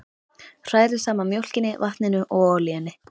Hrærið saman mjólkinni, vatninu og olíunni.